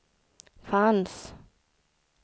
fanns